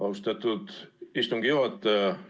Austatud istungi juhataja!